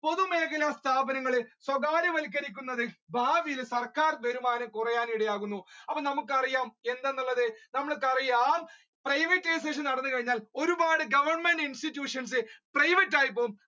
പൊതു മേഖല സ്ഥാപനങ്ങൾ സ്വകാര്യവത്ക്കരിക്കുന്നത് ഭാവിയിൽ സർക്കാർ വരുമാനം കുറയാൻ ഇടയാകുന്നു നമ്മുക്ക് അപ്പൊ അറിയാം എന്തെന്നുള്ളത് നമ്മുക്ക് അറിയാം privatisation നടന്നു കഴിഞ്ഞാൽ ഒരുപാട് goverment institutions private ആയി പോകും.